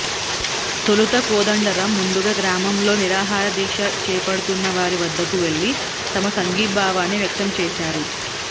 తొలుత కోదండరామ్ ముందుగా గ్రామంలో నిరాహారదీక్ష చేపడుతున్న వారి వద్దకు వెళ్లి తమ సంఘీభావాన్ని వ్యక్తం చేశారు